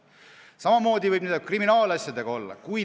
Samamoodi võib olla kriminaalasjadega.